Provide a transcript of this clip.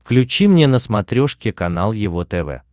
включи мне на смотрешке канал его тв